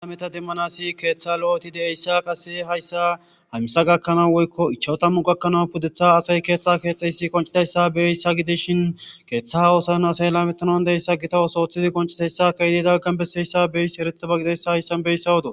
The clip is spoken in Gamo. Ameta demmanasi keeththa lo'eti de'eyssa qase hayssahammisa gakkanaa woykko ichawo tammu gakkanawu pudetha asay keethxa keexxeysi qoncidayssa beyyssa gideshin keeththa oosan asay lametanan deyssa gita osooththizi konciteyssa keydi dagan besseyssa beeyss herete bagidayssa hayssan beyssa hodo.